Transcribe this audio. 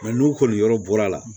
n'u kɔni yɔrɔ bɔra la